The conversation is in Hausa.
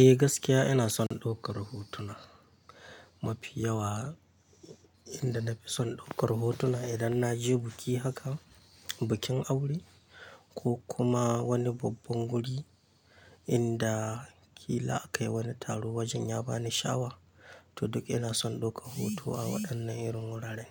Eh gaskiya ina son ɗaukar hotuna mafi yawa inda na fi son ɗaukar hotuna idan na je biki haka, bikin aure ko kuma wani babban guri inda kila aka yi wani taro wajen ya ba ni shawa, to duk ina son ɗaukar hoto a waɗannan irin wuraren.